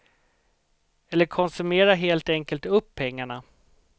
Eller konsumera helt enkelt upp pengarna.